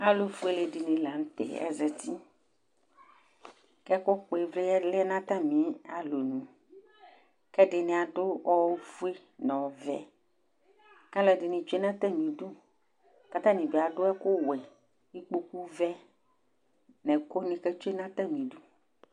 Alu fuele dini la nu tɛ azati ku ɛkukpɔ ivli lɛ nu atamialɔ nu ku ɛdini adu ofue nu ovɛ kaluɛdini tsue nu atamidu katani bi adu ɛku wɛ kpoku vɛ nu ɛkuni ketsue nu atami idu